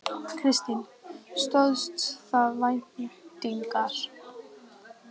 Kristín: Stóðst það væntingar?